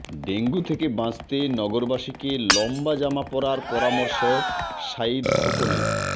dengue থেকে বাঁচতে নগরবাসীকে লম্বা জামা পরার পরামর্শ সাঈদ খোকনের